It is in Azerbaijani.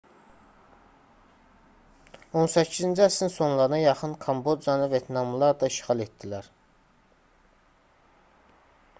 18-ci əsrin sonlarına yaxın kambocanı vyetnamlılar da işğal etdilər